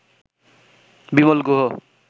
Bimal Guha